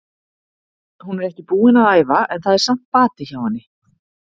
Hún er ekki búin að æfa en það er samt bati hjá henni.